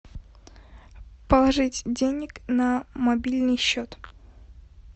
положить денег на мобильный счет